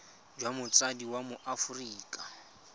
jwa motsadi wa mo aforika